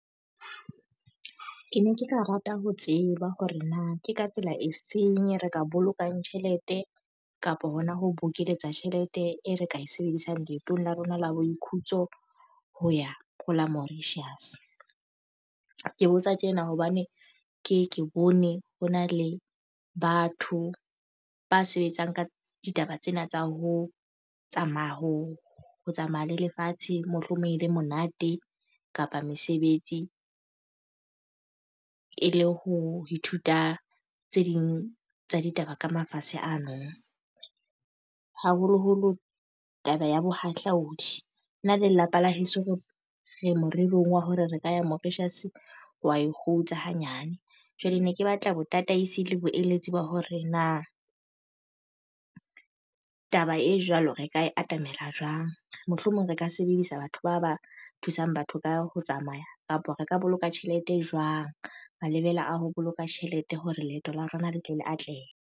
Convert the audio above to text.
Ne ke ka rata ho tseba hore na ke ka tsela e feng re ka bolokang tjhelete kapo ho na ho bokeletsa tjhelete e re ka e sebedisang leetong la rona la boithutiso ho ya ho la Mauritius. Ke botsa tjena hobane ke ye ke bone ho na le batho ba sebetsang ka ditaba tsena tsa ho tsamaya, ho ho tsamaya le lefatshe mohlomong e le monate kapa mesebetsi. E le ho ithuta tse ding tsa ditaba ka mafatshe ano. Haholoholo taba ya bohahlaodi, nna le lelapa la heso re morerong wa hore re ka ya Mauritius wa e kgutsa hanyane. Jwale ne ke batla botataisi le boeletsi ba hore na taba e jwalo reka ka e atamela jwang. Mohlomong re ka sebedisa batho ba ba thusang batho ka ho tsamaya, kapa re ka boloka tjhelete e jwang. Malebela a ho boloka tjhelete hore leeto la rona le tle le atlehe.